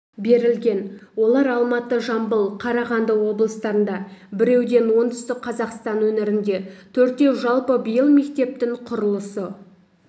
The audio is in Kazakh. берілген олар алматы жамбыл қарағанды облыстарында біреуден оңтүстік қазақстан өңірінде төртеу жалпы биыл мектептің құрылысы